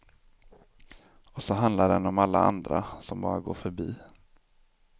Och så handlar den om alla andra, som bara går förbi.